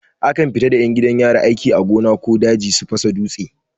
Akan fita da 'yan gidan yari aiki a gona ko daji su fasa dutse.